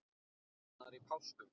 Annar í páskum.